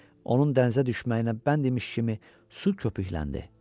Onun dənizə düşməyi ilə bənd imiş kimi su köpükləndi.